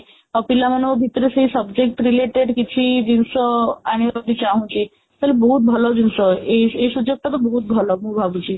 ଆଉ ପିଲାମାନଙ୍କ ଭିତରେ ସେଇ subject related କିଛି ଜିନିଷ ଆଣିବାକୁ ଚାହୁଁଛି ତାହାଲେ ବହୁତ ଭଲ ଜିନିଷ ଏଇ ଏଇ ସୁଯୋଗ ଟା ତ ବହୁତ ଭଲ ମୁଁ ଭାବୁଛି